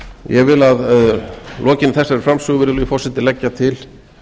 ég vil að lokinni þessari framsögu virðulegi forseti leggja til